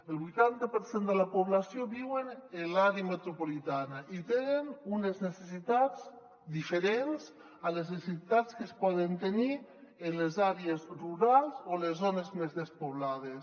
el vuitanta per cent de la població viu a l’àrea metropolitana i té unes necessitats diferents a les necessitats que es poden tenir en les àrees rurals o en les zones més despoblades